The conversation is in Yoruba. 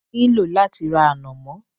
Mo ní lò láti ra ànàmọ́